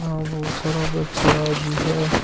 बहुत सारा बछड़ा भी है।